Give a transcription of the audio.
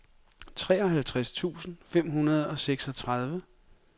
treoghalvtreds tusind fem hundrede og seksogtredive